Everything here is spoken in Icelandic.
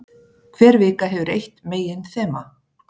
Hver vika hefur eitt meginþema.